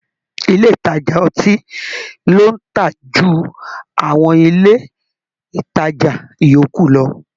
Ilé ìtajà ọtí ló ń tà jù àwọn ilé ìtajà yòókù lọ